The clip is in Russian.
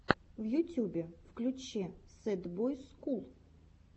в ютюбе включи сэд бойс скул